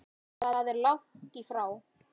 Það er langt í frá.